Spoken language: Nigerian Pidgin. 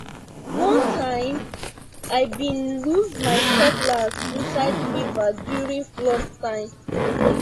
one time i been lose my cutlass inside river during flood time